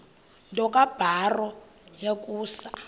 nto kubarrow yokusa